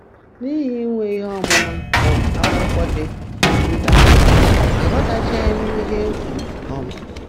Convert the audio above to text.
N’ihi inwe ihe ọmụma um akwụkwọ dị nta, aghọtachaghị m ihe e kwuru. um